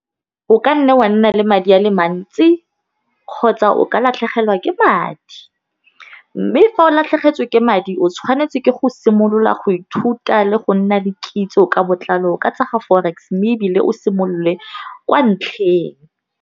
O ka nna wa nna le madi a le mantsi kgotsa o ka latlhegelwa ke madi, mme fa o latlhegetswe ke madi o tshwanetse ke go simolola go ithuta le go nna le kitso ka botlalo ka tsa ga forex mme ebile o simolole kwa ntlheng.